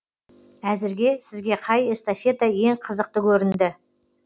әзірге сізге қай эстафета ең қызықты көрінді